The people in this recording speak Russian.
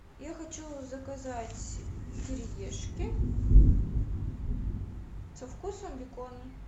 я хочу заказать кириешки со вкусом бекона